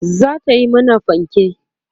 zata Yi mana fanke